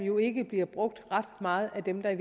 jo ikke bliver brugt ret meget af dem der i